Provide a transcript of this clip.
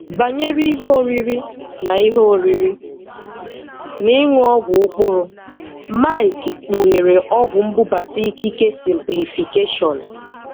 Banyere ihe oriri na ihe oriri na ịṅụ ọgwụ ụkpụrụ, Mike kpughere ọgwụ mbubata ikike simplifikeshon.